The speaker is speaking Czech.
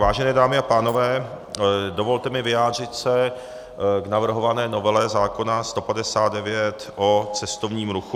Vážené dámy a pánové, dovolte mi vyjádřit se k navrhované novele zákona 159 o cestovním ruchu.